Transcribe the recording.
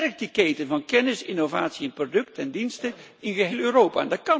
Versterk de keten van kennis, innovatie in producten en diensten in geheel Europa.